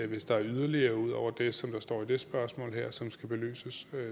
hvis der er yderligere omstændigheder ud over det som der står i det spørgsmål her som skal belyses